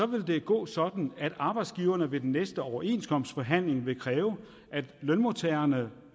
vil det gå sådan at arbejdsgiverne ved den næste overenskomstforhandling vil kræve at lønmodtagerne